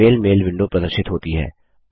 Gmail mail window प्रदर्शित होती है